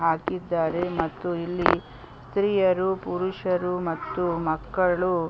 ಹಾಕಿದ್ದಾರೆ ಮತ್ತು ಇಲ್ಲಿ ಸ್ತೀಯರು ಪುರುಷರು ಮತ್ತು ಮಕ್ಕಳು --